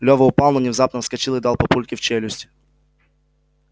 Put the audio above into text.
лева упал но внезапно вскочил и дал папульке в челюсть